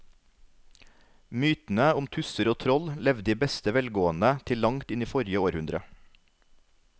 Mytene om tusser og troll levde i beste velgående til langt inn i forrige århundre.